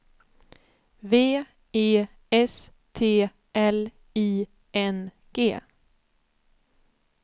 V E S T L I N G